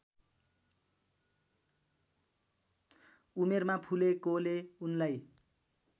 उमेरमा फुलेकोले उनलाई